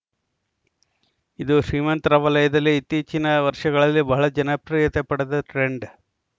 ಇದು ಶ್ರೀಮಂತರ ವಲಯದಲ್ಲಿ ಇತ್ತೀಚಿನ ವರ್ಷಗಳಲ್ಲಿ ಬಹಳ ಜನಪ್ರಿಯತೆ ಪಡೆದ ಟ್ರೆಂಡ್‌